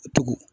Tugun